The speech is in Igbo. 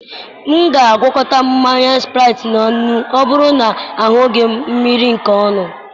M ga-agwakọta mmanya Spraịtị na nnu ma ọ bụrụ na ahụghị m mmiri nke ọnụ.